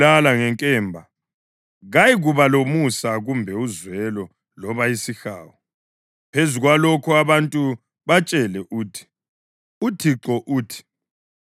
Phezu kwalokho, abantu batshele uthi, ‘ UThixo uthi: Khangelani, ngiyalimisela phambi kwenu indlela yokuphila lendlela yokufa.